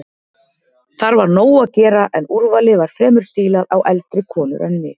Þar var nóg að gera en úrvalið var fremur stílað á eldri konur en mig.